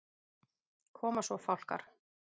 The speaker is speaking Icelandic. Koma svo Fálkar!